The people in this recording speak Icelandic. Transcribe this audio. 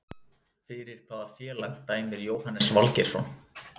Fyrir hvaða félag dæmir Jóhannes Valgeirsson?